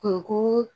Kunko